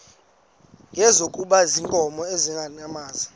ngezikhumba zeenkomo nezeenyamakazi